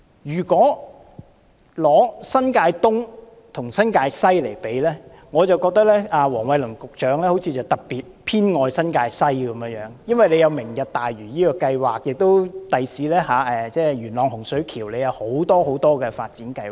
如果將新界東和新界西作比較，我覺得黃偉綸局長好像特別偏愛新界西，因為新界西有"明日大嶼"計劃，日後在元朗洪水橋也有很多發展計劃。